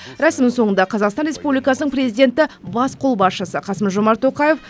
рәсім соңында қазақстан республиасының президенті бас қолбасшысы қасым жомарт тоқаев